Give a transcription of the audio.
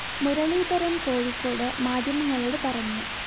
മുരളീധരന്‍ കോഴിക്കോട്‌ മാധ്യമങ്ങളോട്‌ പറഞ്ഞു